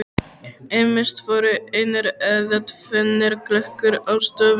Ýmist voru einir eða tvennir gluggar á stofunni.